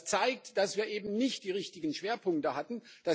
Das zeigt, dass wir eben nicht die richtigen Schwerpunkte hatten.